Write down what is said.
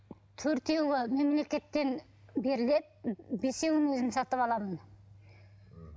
төртеуі мемлекеттен беріледі бесеуін өзім сатып аламын м